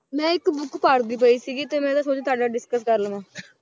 ਮੈਂ ਇੱਕ book ਪੜ੍ਹਦੀ ਪਈ ਸੀਗੀ ਤੇ ਮੈਂ ਨਾ ਸੋਚਿਆ ਤੁਹਾਡੇ ਨਾਲ discuss ਕਰ ਲਵਾਂ